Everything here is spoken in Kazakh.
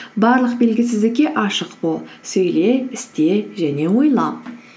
барлық белгісіздікке ашық бол сөйле істе және ойлан